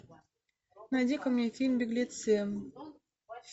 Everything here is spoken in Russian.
найди ка мне фильм беглецы